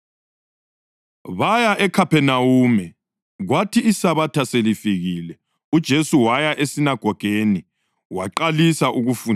Baya eKhaphenawume, kwathi iSabatha selifikile, uJesu waya esinagogeni waqalisa ukufundisa.